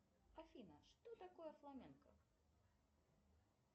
афина что такое фламенко